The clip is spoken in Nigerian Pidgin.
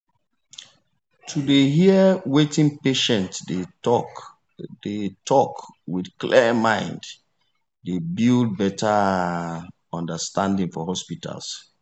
to dey hear wetin patient dey talk dey talk with clear mind dey build better ah understanding for hospitals.